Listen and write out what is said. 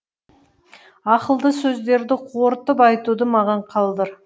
ақылды сөздерді қорытып айтуды маған қалдыр